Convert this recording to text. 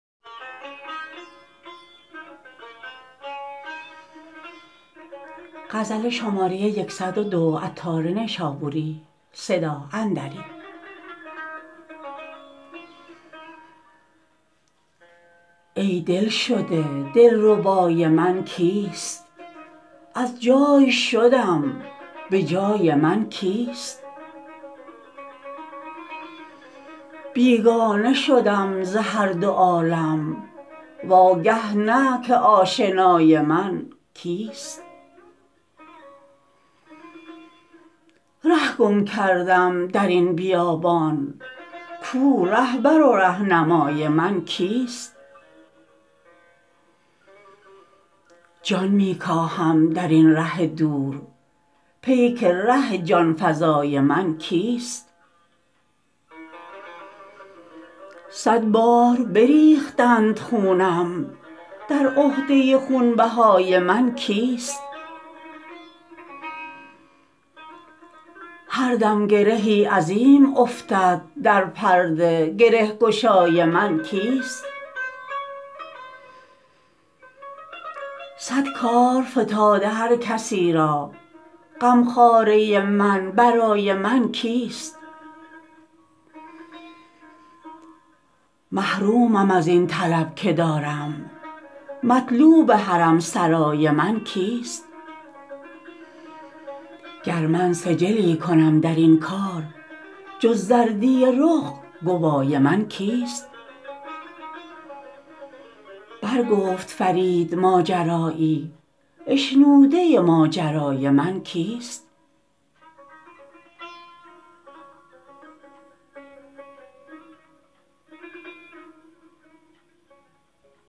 ای دلشده دلربای من کیست از جای شدم به جای من کیست بیگانه شدم ز هر دو عالم واگه نه که آشنای من کیست ره گم کردم درین بیابان کو رهبر و رهنمای من کیست جان می کاهم درین ره دور پیک ره جان فزای من کیست صد بار بریختند خونم در عهده خون بهای من کیست هر دم گرهی عظیم افتد در پرده گره گشای من کیست صد کار فتاده هر کسی را غمخواره من برای من کیست محرومم ازین طلب که دارم مطلوب حرم سرای من کیست گر من سجلی کنم درین کار جز زردی رخ گوای من کیست بر گفت فرید ماجرایی اشنوده ماجرای من کیست